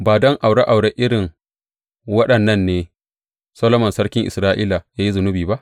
Ba don aure aure irin waɗannan ne Solomon sarkin Isra’ila ya yi zunubi ba?